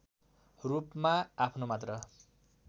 रूपमा आफ्नो मात्र